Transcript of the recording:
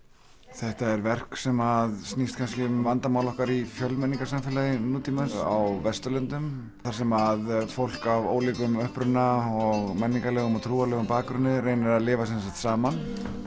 þetta er verk sem snýst kannski um vandamál okkar í fjölmenningarsamfélagi nútímans á Vesturlöndum þar sem fólk af ólíkum uppruna og menningarlegum og trúarlegum bakgrunni reynir að lifa saman